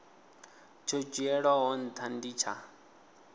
tsho dzhielwaho ntha ndi tsha